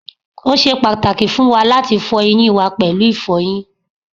o ṣe pàtàkì fún wa láti fọ eyín wa pẹ̀lú ìfọyín